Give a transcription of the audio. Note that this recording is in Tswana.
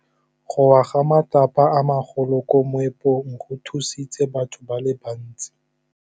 Go wa ga matlapa a magolo ko moepong go tshositse batho ba le bantsi.